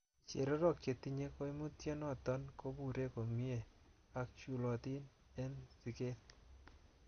Chererok chetinye koimutioniton kobure komie ak chulotin en siket.